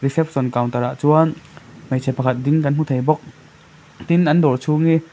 reception counter ah chuan hmeichhe pakhat ding kan hmu thei bawk tin an dawr chhung hi--